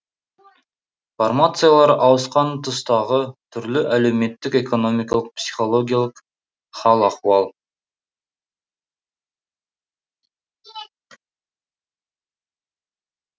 формациялар ауысқан тұстағы түрлі әлеуметтік экономикалық психологиялық хал ахуал